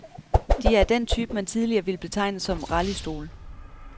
De er af den type, man tidligere ville betegne som rallystole.